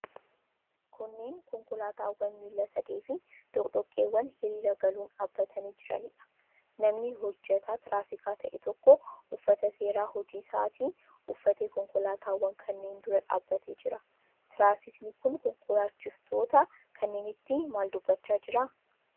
Kunneen konkolaataawwan miila sadeefi doqdoqqeewwan hiriira galuun dhaabbatanii jiraniidha. Namni hojjetaa tiraafikaa ta'e tokko, uffata seeraa hojii isaatii uffatee konkolaataawwan kanneen dura dhaabbatee jira. Tiraafikiin kun konkolaachiftoota kanneenitti maal dubbachaa jira?